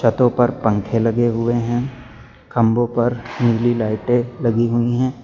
छतों पर पंखे लगे हुए हैं खंभों पर नीली लाइटें लगी हुई हैं।